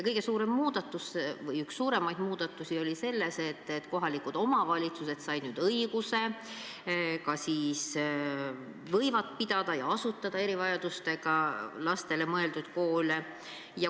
Kõige suurem muudatus või üks suuremaid muudatusi oli see, et kohalikud omavalitsused said õiguse, et nad võivad pidada ja asutada erivajadustega lastele mõeldud koole.